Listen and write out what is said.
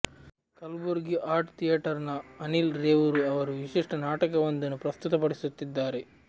Kalaburagi art ಥಿಯೇಟರ್ನ ಅನಿಲ್ ರೇವೂರು ಅವರು ವಿಶಿಷ್ಟ ನಾಟಕವೊಂದನ್ನು ಪ್ರಸ್ತುತಪಡಿಸುತ್ತಿದ್ದಾರೆ